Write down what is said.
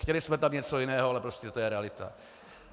Chtěli jsme tam něco jiného, ale prostě to je realita.